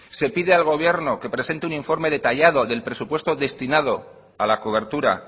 se pide al gobierno que presente un informe detallado del presupuesto destinado a la cobertura